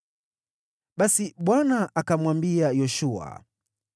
Basi Bwana akamwambia Yoshua,